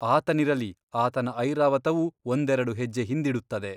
ಆತನಿರಲಿ ಆತನ ಐರಾವತವೂ ಒಂದೆರಡು ಹೆಜ್ಜೆ ಹಿಂದಿಡುತ್ತದೆ.